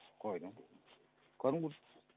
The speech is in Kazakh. қайдам кәдімгі